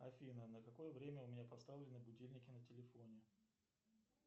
афина на какое время у меня поставлены будильники на телефоне